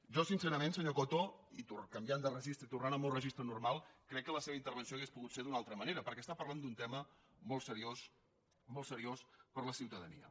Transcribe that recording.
jo sincerament senyor coto i canviant de registre i tornant al meu registre normal crec que la seva intervenció hauria pogut ser d’una altra manera perquè està parlant d’un tema molt seriós per a la ciutadania